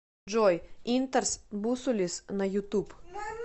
джой интарс бусулис на ютуб